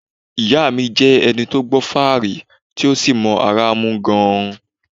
Ìyá mi jẹ ẹni tó gbọ́ fáàrí tí ó sì mọ́ ara mú gan-an